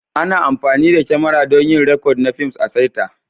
Ana amfani da kyamara don yin rikod na fims a'saita.